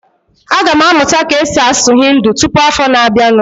Aga m amụta ka-esi asụ Hindi tụpụ afọ na abianu